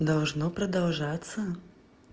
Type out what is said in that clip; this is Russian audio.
должно продолжаться